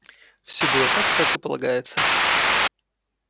все было так как и полагается